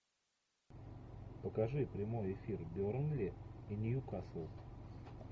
покажи прямой эфир бернли и ньюкасл